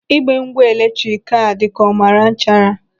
Igbe ngwa eletrik a dị ka ọ mara nchara.